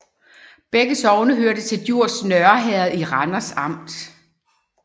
Begge sogne hørte til Djurs Nørre Herred i Randers Amt